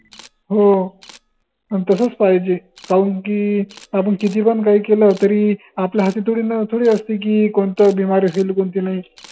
हो अन तसच पाहिजे कौन की आपन किती पन काही केलं तरी आपल्या हाती थोडीना थोडी असते की, कोनतं बिमारी असेल न कोनती नाही